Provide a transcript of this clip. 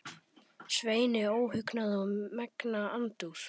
Sveini óhugnað og megna andúð.